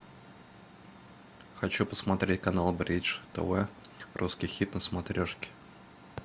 хочу посмотреть канал бридж тв русский хит на смотрешке